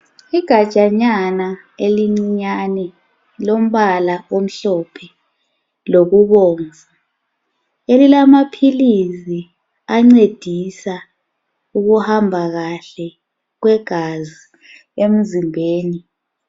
Igajsnyana elicinyane lombala omhlophe lokubobvu. Elilamapiritsi encedisa ukuhamba kahle kwegazi emzimbeni.